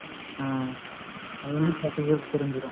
ஆஹ் அதுவந்து தெரிஞ்சுரும்